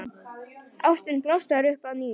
Ástin blossar upp að nýju.